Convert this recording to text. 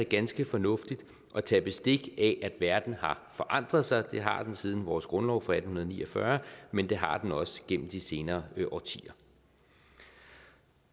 ganske fornuftigt at tage bestik af at verden har forandret sig det har den siden vores grundlov fra atten ni og fyrre men det har den også gennem de senere årtier